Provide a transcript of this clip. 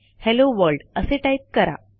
hello world असे type करा